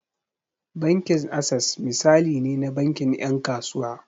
Bankin Access misali ne na bankin 'yan kasuwa.